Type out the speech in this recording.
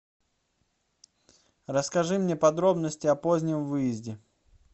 расскажи мне подробности о позднем выезде